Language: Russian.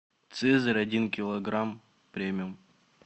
цезарь один килограмм премиум